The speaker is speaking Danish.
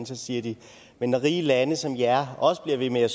så siger de men når rige lande som jeres også bliver ved med at